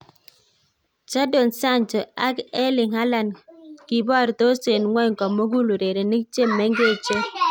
Jadon Sancho ak Erling Haland: Kiborosto en ng'wony komugul urerenik che mengechen